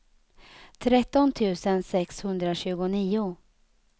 tretton tusen sexhundratjugonio